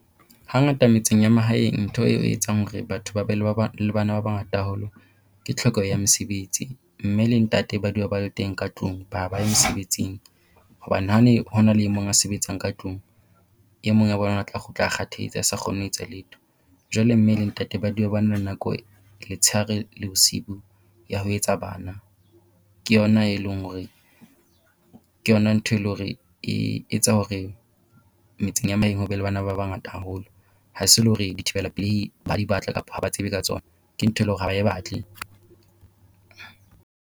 Hangata metseng ya mahaeng ntho eo e etsang hore batho ba be le ba ba le bana ba bangata haholo ke tlhokeho ya mesebetsi. Mme le ntate ba dula ba le teng ka tlung ba ba ye mesebetsing hobane ha ne ho na le emong a sebetsang ka tlung, e mong wa bona o tla kgutla kgathetse a sa kgone ho etsa letho. Jwale mme le ntate ba dula ba na le nako letshehare le bosibu ya ho etsa bana. Ke yona e leng hore ke yona ntho e le hore e etsa hore metseng ya mahaeng ho be le bana ba bangata haholo, ha se le hore dithibela pelei ba di batla, kapa ha ba tsebe ka tsona, ke ntho e le hore ha ba e batle.